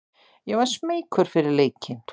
Ég var smeykur fyrir leikinn.